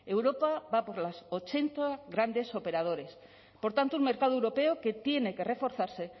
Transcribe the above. europa va por los ochenta grandes operadores por tanto un mercado europeo que tiene que reforzarse